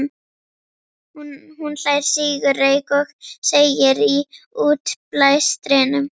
Hún hlær, sýgur reyk og segir í útblæstrinum